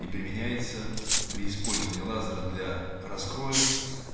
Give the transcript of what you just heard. и применяется при использовании лазера для раскроя